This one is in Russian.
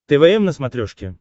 твм на смотрешке